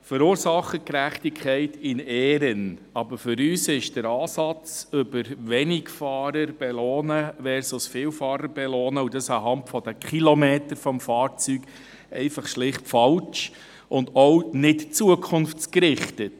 Verursachergerechtigkeit in Ehren, aber für uns ist der Ansatz Wenigfahrer versus Vielfahrer zu belohnen, und das anhand der Kilometer des Fahrzeugs, schlicht und einfach falsch und auch nicht zukunftsgerichtet.